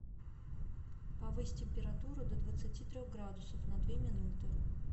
повысь температуру до двадцати трех градусов на две минуты